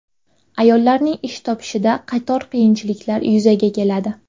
Ayollarning ish topishida qator qiyinchiliklar yuzaga keladi.